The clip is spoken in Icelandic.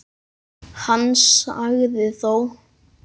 Hann sagði þó